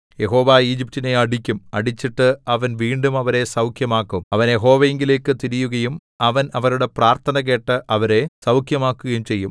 യഹോവ ഈജിപ്റ്റിനെ അടിക്കും അടിച്ചിട്ട് അവൻ വീണ്ടും അവരെ സൗഖ്യമാക്കും അവർ യഹോവയിങ്കലേക്കു തിരിയുകയും അവൻ അവരുടെ പ്രാർത്ഥന കേട്ട് അവരെ സൗഖ്യമാക്കുകയും ചെയ്യും